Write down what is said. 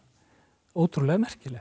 ótrúlega merkilegt